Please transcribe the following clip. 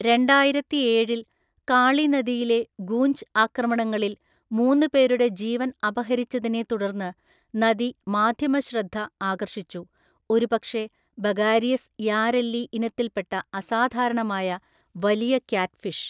രണ്ടായിരത്തിഏഴില്‍, കാളി നദിയിലെ ഗൂഞ്ച് ആക്രമണങ്ങളിൽ മൂന്ന് പേരുടെ ജീവൻ അപഹരിച്ചതിനെ തുടർന്ന് നദി മാധ്യമശ്രദ്ധ ആകർഷിച്ചു, ഒരുപക്ഷേ ബഗാരിയസ് യാരെല്ലി ഇനത്തിൽപ്പെട്ട അസാധാരണമായ വലിയ ക്യാറ്റ്ഫിഷ്.